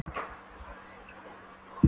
Um hvaða listfræðinga ertu að tala?